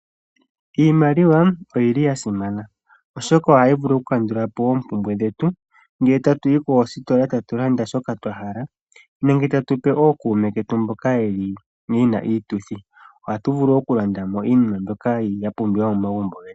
Iimaliwa oyasimana oshoka ohayi vulu oku kandula po oompumbwe dhetu, ngele tatuyi koostola tatu landa shoka twahala nenge tatu pe ookuume ketu mboka yena iituthi. Ohatu vulu okulanda mo iinima ndyoka yapumbiwa momagumbo getu.